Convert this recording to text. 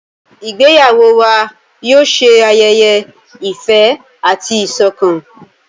Ìgbéyàwó wà yóò ṣe ayẹyẹ ìfẹ àti ìsọkan.